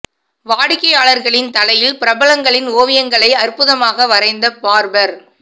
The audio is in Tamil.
வாடிக்கையாளர்களின் தலையில் பிரபலங்களின் ஓவியங்களை அற்புதமாக வரைந்த பார்பர்